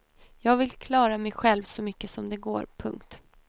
Jag vill klara mig själv så mycket som det går. punkt